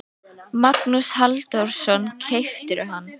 Magnús Halldórsson: Keyptirðu hann?